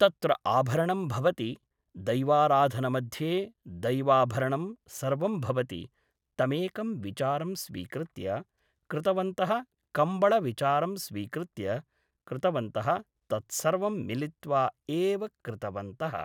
तत्र आभरणं भवति दैवाराधनमध्ये दैवाभरणं सर्वं भवति तमेकं विचारं स्वीकृत्य कृतवन्तः कम्बळविचारं स्वीकृत्य कृतवन्तः तत्सर्वं मिलित्त्वा एव कृतवन्तः